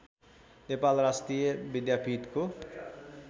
नेपाल राष्ट्रिय विद्यापीठ हो